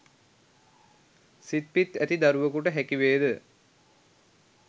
සිත් පිත් ඇති දරුවකුට හැකිවේද?